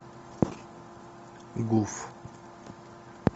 гуф